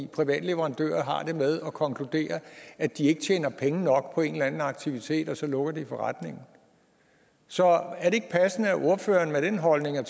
private leverandører har det med at konkludere at de ikke tjener penge nok på en eller anden aktivitet og så lukker de forretningen så er det ikke passende at ordføreren med den holdning og